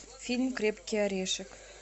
фильм крепкий орешек